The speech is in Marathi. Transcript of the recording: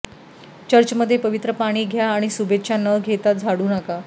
चर्चमध्ये पवित्र पाणी घ्या आणि शुभेच्छा न घेता झाडू नका